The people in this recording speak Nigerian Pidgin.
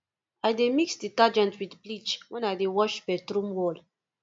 i dey mix detergent wit bleach wen i dey wash bathroom wall